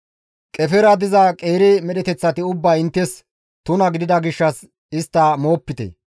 Qefera diza qeeri medheteththati ubbay inttes tuna gidida gishshas istta moopite.